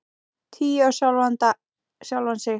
Trú á sjálfan sig.